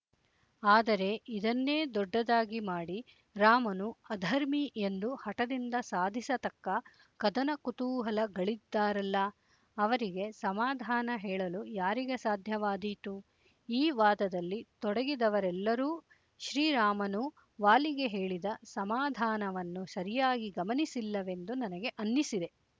ಆದರೆ ಇದನ್ನೇ ದೊಡ್ಡದಾಗಿ ಮಾಡಿ ರಾಮನು ಅಧರ್ಮಿ ಎಂದು ಹಠದಿಂದ ಸಾಧಿಸತಕ್ಕ ಕದನಕುತೂಹಲಗಳಿದ್ದಾರಲ್ಲ ಅವರಿಗೆ ಸಮಾಧಾನ ಹೇಳಲು ಯಾರಿಗೆ ಸಾಧ್ಯವಾದೀತು ಈ ವಾದದಲ್ಲಿ ತೊಡಗಿದವರೆಲ್ಲರೂ ಶ್ರೀರಾಮನು ವಾಲಿಗೆ ಹೇಳಿದ ಸಮಾಧಾನವನ್ನು ಸರಿಯಾಗಿ ಗಮನಿಸಿಲ್ಲವೆಂದು ನನಗೆ ಅನ್ನಿಸಿದೆ